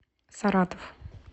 саратов